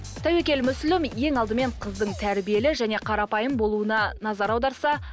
тәуекел мүслім ең алдымен қыздың тәрбиелі және қарапайым болуына назар аударса